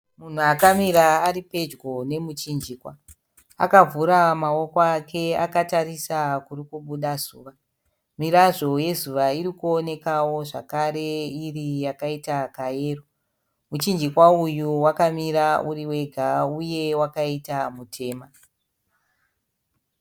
Munhu akamira ari pedyo nemuchinjikwa, akavhura maoko ake akatarisa kuri kubuda zuva. Mirazvo yezuva iri kuonekawo zvakare iri yakaita kayero. Muchinjikwa uyu wakamira uri wega uye wakaita mutema.